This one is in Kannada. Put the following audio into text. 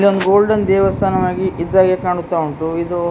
ಇಲ್ಲೊಂದು ಗೋಲ್ಡನ್ ದೇವಸ್ಥಾನವಾಗಿ ಇದ್ದಹಾಗೆ ಕಾಣಿಸ್ತಾ ಉಂಟು ಇದು --